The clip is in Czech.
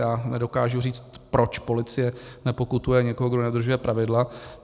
Já nedokážu říct, proč policie nepokutuje někoho, kdo nedodržuje pravidla.